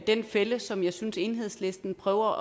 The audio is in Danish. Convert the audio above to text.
den fælde som jeg synes enhedslisten prøver